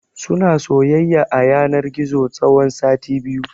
Suna soyayya a yanar gizo tsawon sati biyu.